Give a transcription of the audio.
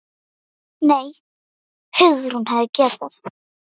Nei, Hugrún, hún hefði getað.